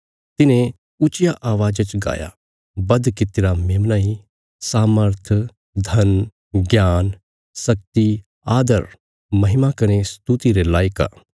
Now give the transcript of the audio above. तिन्हें ऊच्चिया अवाज़ा च गाया बध कित्तिरा मेमना इ सामर्थ धन ज्ञान शक्ति आदर महिमा कने स्तुति रे लायक आ